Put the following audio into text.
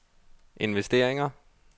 investeringer